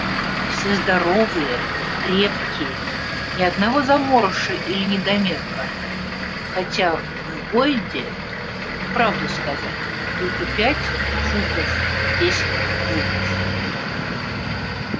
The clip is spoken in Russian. все здоровые крепкие ни одного заморыша или недомерка хотя в бойде правду сказать только пять футов десять дюймов